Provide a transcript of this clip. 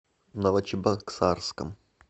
новочебоксарском